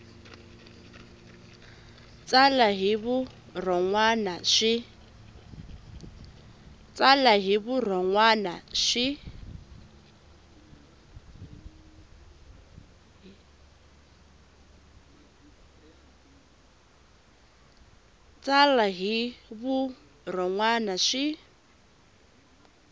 tsala hi vurhon wana swi